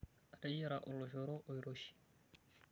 Ateyiara oloshoro oiroshi.